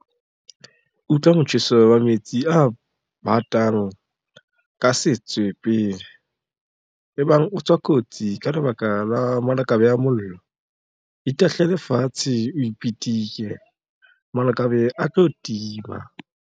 Utlwa motjheso wa metsi a bateng ka setswe pele. Ebang o tswa kotsi ka lebaka la malakabe a mollo, itahlele fatshe o pitike, malakabe a tlo tima.